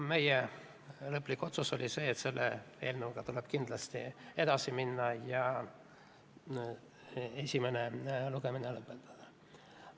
Meie lõplik otsus oli, et selle eelnõuga tuleb kindlasti edasi minna ja esimene lugemine lõpetada.